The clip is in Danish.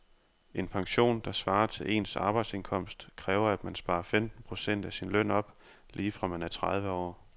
En pension, der svarer til ens arbejdsindkomst, kræver at man sparer femten procent af sin løn op lige fra man er tredive år.